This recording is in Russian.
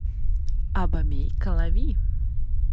абомей калави